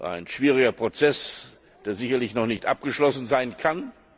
Ein schwieriger Prozess, der sicherlich noch nicht abgeschlossen sein kann.